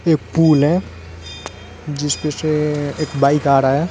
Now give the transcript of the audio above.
एक पूल है जिस पे से एक बाइक आ रहा है।